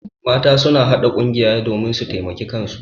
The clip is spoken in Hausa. Mata suna haɗa ƙungiya domin su taimaki kansu.